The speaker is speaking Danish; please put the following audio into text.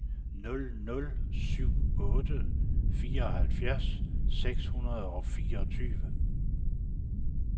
nul nul syv otte fireoghalvfjerds seks hundrede og fireogtyve